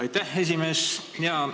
Aitäh, esimees!